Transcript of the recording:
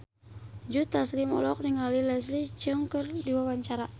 Joe Taslim olohok ningali Leslie Cheung keur diwawancara